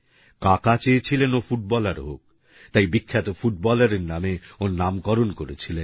কাকা চেয়েছিলেন ও ফুটবলার হোক তাই বিখ্যাত ফুটবলারের নামে ওর নামকরণ করেছিলেন